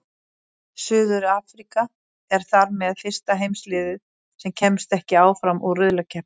Suður-Afríka er þar með fyrsta heimaliðið sem kemst ekki áfram úr riðlakeppni.